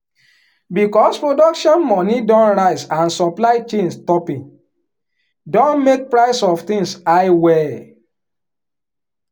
because production money don rise and supply chain stoping don make price of tins high well.